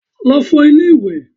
Lọ fọ ilé ìwẹ̀!